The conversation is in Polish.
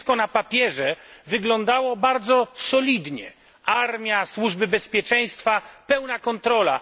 Wszystko na papierze wyglądało bardzo solidnie armia, służby bezpieczeństwa, pełna kontrola.